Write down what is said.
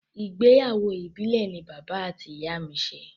Ìgbéyàwó ìbìlẹ̀ ni bàbá àti ìyá mi ṣe.